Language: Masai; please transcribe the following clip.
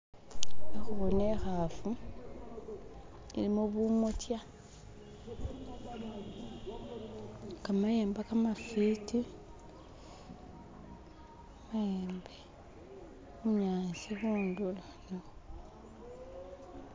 Khe kuboona ikhafu ilimo bumotya khamayemba khamafiti mayembe bunyaasi khundulo